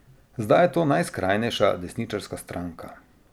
Zdaj je to najskrajnejša desničarska stranka.